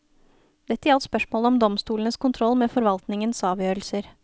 Dette gjaldt spørsmålet om domstolenes kontroll med forvaltningens avgjørelser.